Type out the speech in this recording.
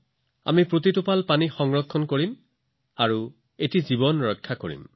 আমি প্ৰতিটো টোপাল পানী ৰাহি কৰিম আৰু প্ৰতিটো জীৱন ৰক্ষা কৰিম